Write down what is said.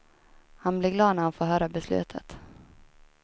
Han blir glad när han får höra beslutet.